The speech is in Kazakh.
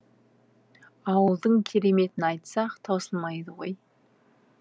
ауылдың кереметін айтсақ таусылмайды ғой